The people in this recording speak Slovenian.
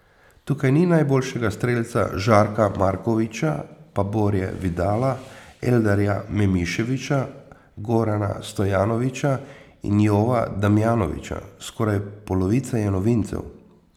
Tukaj ni najboljšega strelca Žarka Markovića, pa Borje Vidala, Eldarja Memiševića, Gorana Stojanovića in Jova Damjanovića, skoraj polovica je novincev.